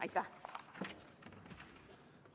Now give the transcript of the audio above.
Aitäh!